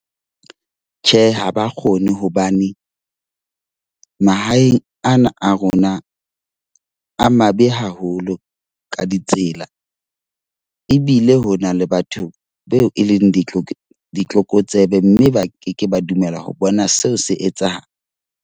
Tjhe, ha ba kgone hobane mahaeng ana a rona a mabe haholo ka ditsela. Ebile ho na le batho beo e leng di ditlokotsebe mme ba ke ke ba dumela ho bona seo se etsahala.